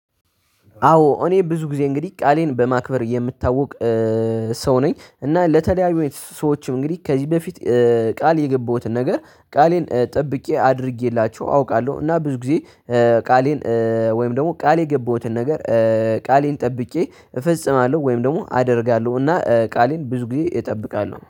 አዎ እኔ ብዙ ጊዜ እንግዲህ ቃሌን በማክበር የምታውቅ ሰው ነኝ እና ለተለያዩ ሰዎችም እንግዲህ ከዚህ በፊት ቃል የገባሁትን ነገር ቃሌን ጠብቄ አድርጌላችሁ አውቃለሁ። እና ብዙ ጊዜ ቃሌን ወይም ደግሞ ቃሌ የገባሁትን ነገር ቃሌን ጠብቼ እፈጽማለሁ ወይም ደግሞ አደርጋለሁ። እና ቃሌን ብዙ ጊዜ እጠብቃለሁ